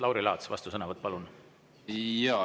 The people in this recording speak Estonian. Lauri Laats, vastusõnavõtt, palun!